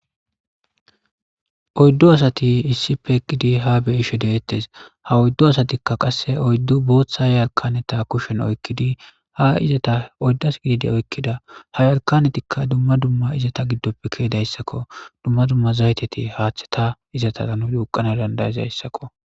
Oyddo asati issipe eqqidi ha beyishe deettes. Ha oyddu asatikka qasse oyddu booththa yarkaneta kushen oykkidi ha izata oyddas gididi oykkida ha yalkanetikka dumma dumma izata giddoppe keedayssakko dumma dumma zayteti haaththe ta izata nu duqana dandayezayssakko.